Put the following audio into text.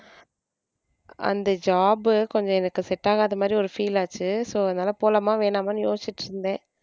அந்த job கொஞ்சம் எனக்கு set ஆகாத மாதிரி ஒரு feel ஆச்சு so அதனால போலாமா வேணாமான்னு யோசிச்சிட்டு இருந்தேன்.